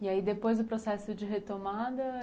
E aí depois o processo de retomada?